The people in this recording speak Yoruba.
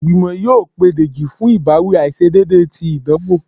igbimọ yóò pe dejí fún ibawi aiṣedeede tí idanwo